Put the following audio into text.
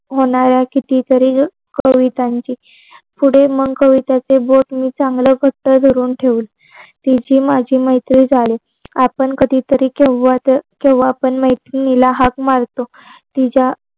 मनाव्या किती तरी कवितांची. पुढे मग कवितांचे बोल मी चांगल घट्ट धरून ठेवले. तिची माझी मैत्री झाली. आपण कधी तरी केव्हा पण केंव्हा तरी मैत्रिणीला हाक मारतो तुमच्या